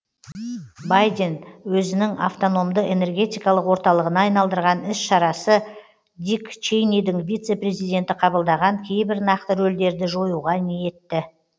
байден өзінің автономды энергетикалық орталығына айналдырған ізшарасы дик чейнидің вице президенті қабылдаған кейбір нақты рөлдерді жоюға ниетті